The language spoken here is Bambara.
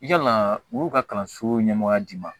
I yala u ka kalanso ɲɛmɔgɔya d'i ma